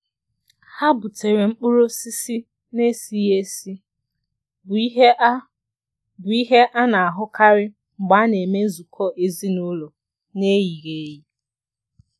Ha butere mkpụrụ osisi n'esighị esi, bụ ihe a bụ ihe a na-ahụkarị mgbe a na-eme nzukọ ezinaụlọ n'eyighị eyi.